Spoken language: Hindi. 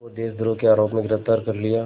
को देशद्रोह के आरोप में गिरफ़्तार कर लिया